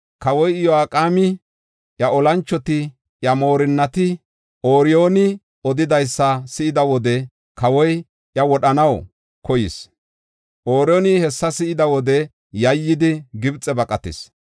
Kawoy Iyo7aqeemi, iya olanchoti, iya moorinnati, Ooriyooni odidaysa si7ida wode kawoy iya wodhanaw koyis. Ooriyooni hessa si7ida wode yayyidi, Gibxe baqatis.